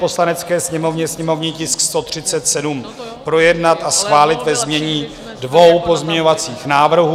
Poslanecké sněmovně sněmovní tisk 137 projednat a schválit ve znění dvou pozměňovacích návrhů.